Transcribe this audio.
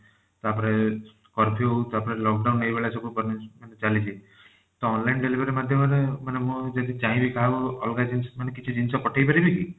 ତାପରେ curfew ତାପରେ lock down ଏଇ ଭଳିଆ ସବୁ punishment ଚାଲିଛି ତ online delivery ମାଧ୍ୟମ ରେ ମାନେ ମୁଁ ଯଦି ଚାହିଁବି କାହାକୁ ଅଲଗା ଜିନିଷ ମାନେ କିଛି ଜିନିଷ ପଠେଇପାରିବି କି?